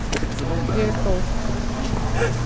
Ég er góð.